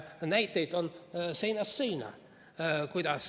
Näiteid on seinast seina.